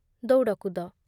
ଦୌଡ଼କୁଦ